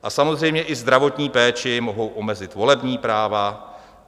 A samozřejmě i zdravotní péči, mohou omezit volební práva.